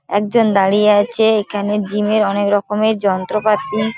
একজন দাঁড়িয়ে আছে এখানে জিম -এর অনেক রকম যন্ত্রপাতি।